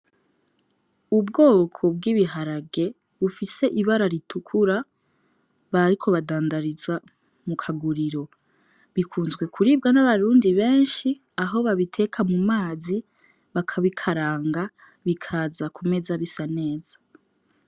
Ubwoko bw'ibiharage bufise ibara ritukura bariko badandariza mu kaguriro. Bikunzwe kuribwa n'abarundi benshi aho babiteka mu mazi, bakabikaranga, bikaza ku meza bisa neza.